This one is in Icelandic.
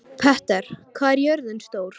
Petter, hvað er jörðin stór?